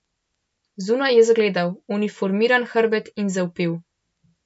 Zunaj je zagledal uniformiran hrbet in zavpil.